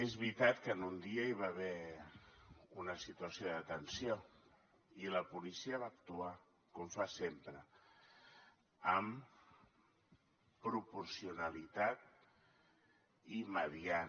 és veritat que en un dia hi va haver una situació de tensió i la policia va actuar com fa sempre amb proporcionalitat i mediant